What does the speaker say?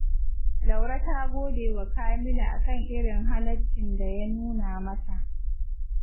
Laure ta gode wa Kamilu a kan irin halaccin da ya nuna mata